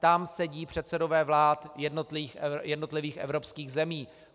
Tam sedí předsedové vlád jednotlivých evropských zemí.